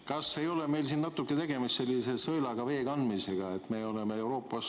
Kas ei ole meil siin natuke tegemist sellise sõelaga vee kandmisega?